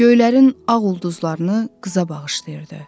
Göylərin ağ ulduzlarını qıza bağışlayırdı.